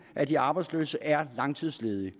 af de arbejdsløse er langtidsledige